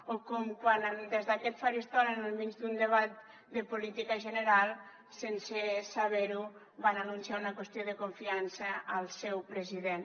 o com quan des d’aquest faristol en el mig d’un debat de política general sense saber ho van anunciar una qüestió de confiança al seu president